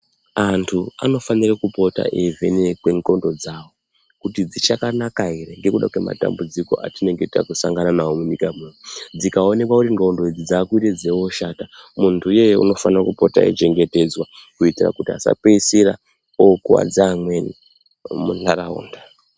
Anthu anofanire kupota eivhenekwe ndxondo dzavo, kuti dzichakanaka ere ngekuda kwematambudziko atinenge takusangana nawo munyika muno. Dzikaoneka kuti ndxondo idzi dzakute dzeioshata munthu iyeye unofana kupota eichengetedzwa kuti asapeisira okuwadza amweni munharaunda.